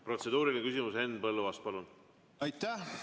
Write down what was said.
Protseduuriline küsimus, Henn Põlluaas, palun!